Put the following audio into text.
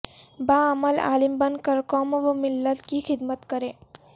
باعمل عالم بن کر قوم وملت کی خدمت کریں